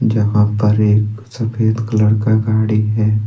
जहां पर एक सफेद कलर का गाड़ी है।